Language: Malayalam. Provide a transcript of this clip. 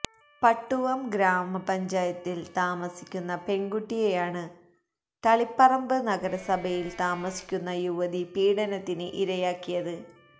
പട്ടുവം ഗ്രാമപഞ്ചായത്തില് താമസിക്കുന്ന പെണ്കുട്ടിയെയാണ് തളിപ്പറമ്പ് നഗരസഭയില് താമസിക്കുന്ന യുവതി പീഡനത്തിന് ഇരയാക്കിയത്